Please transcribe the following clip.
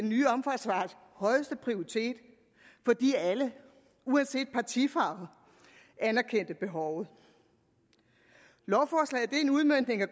nye omfartsvej højeste prioritet fordi alle uanset partifarve anerkendte behovet lovforslaget er en udmøntning af